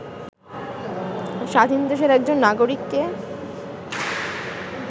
স্বাধীন দেশের একজন নাগরিককে